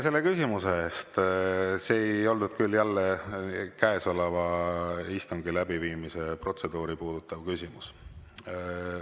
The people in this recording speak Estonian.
See ei olnud küll jälle käesoleva istungi läbiviimise protseduuri puudutav küsimus.